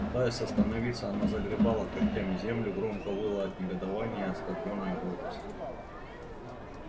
пытаясь остановиться она загребала когтями землю и громко выла от негодования и оскорблённой гордости